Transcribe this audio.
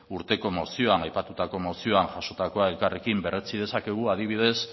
urteko mozioan aipatutako mozioan jasotakoa elkarrekin berretsi dezakegu adibidez